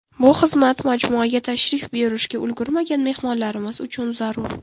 Bu xizmat majmuaga tashrif buyurishga ulgurmagan mehmonlarimiz uchun zarur.